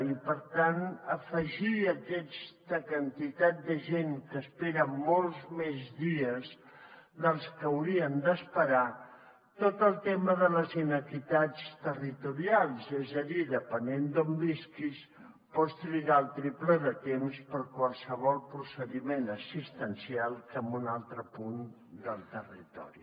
i per tant afegir a aquesta quantitat de gent que espera molts més dies dels que haurien d’esperar tot el tema de les inequitats territorials és a dir depenent d’on visquis pots trigar el triple de temps per a qualsevol procediment assistencial que en un altre punt del territori